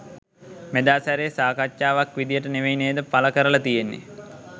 මෙදා සැරේ සාකච්ඡාවක් විදියට නෙවෙයි නේද පල කරල තියෙන්නෙ.